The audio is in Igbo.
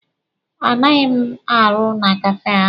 A naghị m arụ na Kafee ahụ.